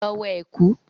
Lọ wọ ẹ̀kú!